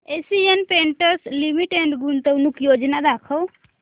Asian Paints Limited गुंतवणूक योजना दाखव